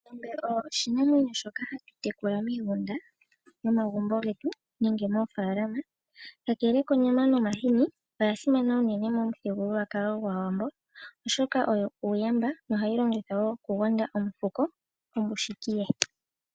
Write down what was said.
Ongombe oyo oshinamwenyo shoka hatu tekula miigunda yomagumbo getu nenge moofaalama. Kakele konyama nomahini, oya simana unene momuthigululwakalo gwAawambo, oshoka oyo uuyamba nohayi longithwa wo okugonda omufuko kombushiki ye.